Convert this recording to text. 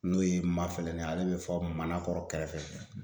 N'o ye Mafɛlɛni ye ale bɛ fo Manakɔrɔ kɛrɛfɛ